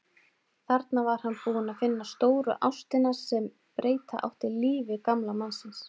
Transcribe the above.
Þarna var hann búinn að finna stóru ástina sem breyta átti lífi gamla mannsins.